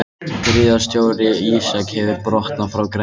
Gríðarstór ísjaki hefur brotnað frá Grænlandsjökli